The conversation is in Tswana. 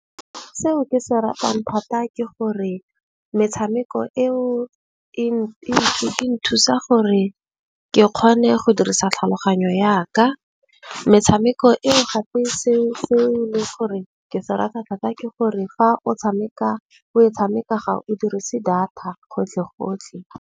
Seo ke se ratang thata ke gore metshameko eo e nthusa gore ke kgone go dirisa tlhaloganyo ya ka. Metshameko e gape seo le gore ke se rata thata ke gore, fa o tshameka o e tshameka ga o dirise data gotlhe gotlhe.